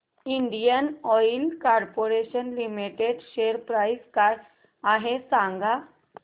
Indian Oil Corporation Limited share price काय आहे सांगा